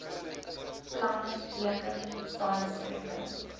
planne teken samesprekings